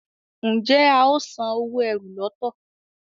Njé ào sàn owo ẹ́rù lọto?